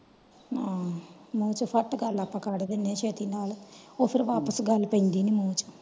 ਹਮ ਨਾਇ ਤੇ ਫੱਟ ਗੱਲ ਆਂ ਕਾਰਦੇਨੇ ਆ ਛੇਤੀ ਨਾਲ ਉਹ ਫੇਰ ਵਾਪਿਸ ਗੱਲ ਪੈਂਦੀ ਨੀ ਮੂੰਹ ਚ।